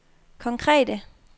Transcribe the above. konkrete